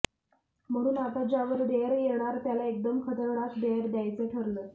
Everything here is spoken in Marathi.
म्हणून आता ज्यावर डेअर येणार त्याला एकदम खतरनाक डेअर द्यायचं ठरलं